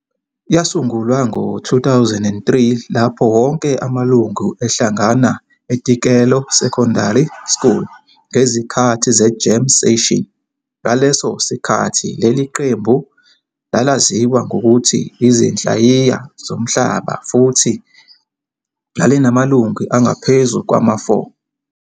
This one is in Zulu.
Yasungulwa ngo-2003 lapho wonke amalungu ehlangana eTikelo Secondary School ngezikhathi ze-jam session. Ngaleso sikhathi leli qembu lalaziwa ngokuthi 'Izinhlayiya Zomhlaba' futhi lalinamalungu angaphezu kwama-4.